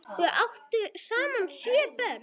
Þau áttu saman sjö börn.